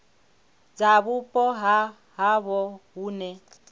dza vhupo ha havho hune